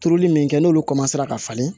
Turuli min kɛ n'olu ka falen